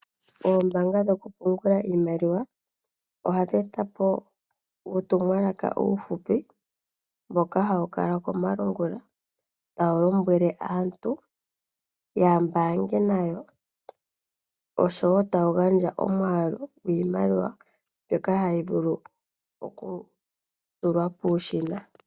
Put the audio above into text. Oombaanga dhokupungula iimaliwa, ohadhi etapo uutumwalaka uufupi mboka hawu kala komalungula tawu lombwele aantu yambaange nayo, oshowo tawu gandja omwaalu gwiimaliwa mbyoka hayi vulu okutulwa muushina (ATM).